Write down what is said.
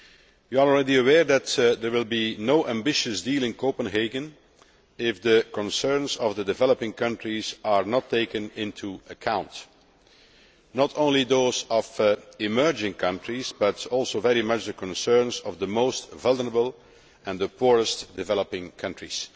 You are already aware that there will be no ambitious deal in Copenhagen if the concerns of the developing countries are not taken into account, not only those of emerging countries, but also very much the concerns of the most vulnerable and the poorest developing countries.